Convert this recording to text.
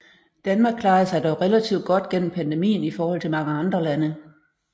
Danmark klarede sig dog relativt godt gennem pandemien i forhold til mange andre lande